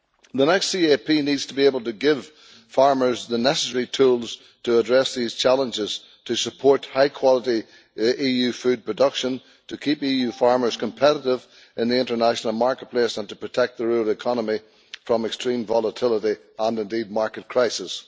The next CAP needs to be able to give farmers the necessary tools to address these challenges so that they can support high quality EU food production in order to keep EU farmers competitive in the international marketplace and to protect the rural economy from extreme volatility and market crises.